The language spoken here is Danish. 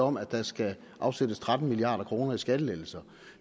om at der skal afsættes tretten milliard kroner til skattelettelser